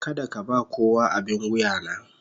Kada ka ba kowa abin wuya na.